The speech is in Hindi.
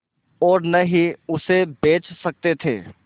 और न ही उसे बेच सकते थे